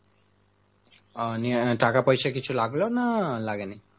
ও নিয়ে টাকা পয়সা কিছু লাগলো না লাগেনি?